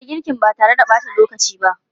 Fara girkin ba tare da ɓata lokaci ba!